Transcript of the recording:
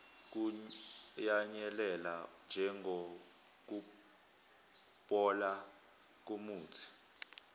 kuyanyelela njengokubola komuthi